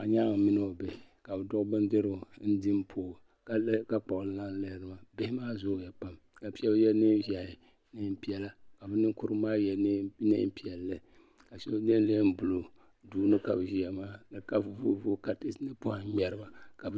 Do nyaaŋ mini o bihi ka be duɣi bindirigu n din pooi ka kpɣi laa n lihiri ba bihi maa zooya pam ka shab yɛ nɛɛnʒahi nɛɛnpɛla ka be ninkurigu maa yɛ nɛɛnpɛlli ka shab yɛ nɛɛnbuluu duuni ka be ʒiya maa ka voo vooi patɛsa ni pɔhim ŋmeri ba